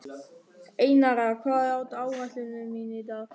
Einara, hvað er á áætluninni minni í dag?